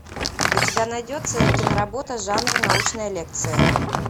у тебя найдется киноработа жанр научная лекция